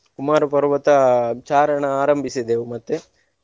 ಕುಮಾರ ಪರ್ವತ ಚಾರಣ ಆರಂಭಿಸಿದ್ದೆವು ಮತ್ತೆ.